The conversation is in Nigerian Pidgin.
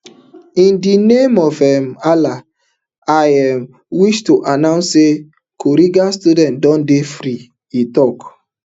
in di name um of allah i um wish to announce say kuriga students don dey free e tok